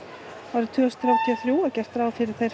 árið tvö þúsund þrjátíu og þrjú er gert ráð fyrir